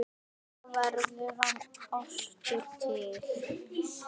Svona verður hefð til.